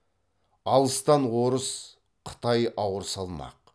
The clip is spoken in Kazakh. алыстан орыс қытай ауыр салмақ